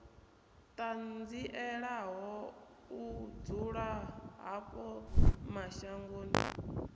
ṱanzielaho u dzula havho mashangoni